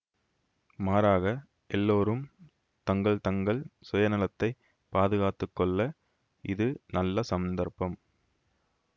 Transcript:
மாறாக எல்லோரும் தங்கள் தங்கள் சுயநலத்தைப் பாதுகாத்து கொள்ள இது நல்ல சந்தர்ப்பம்